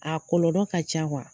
A kɔlɔlɔ ka ca kuwa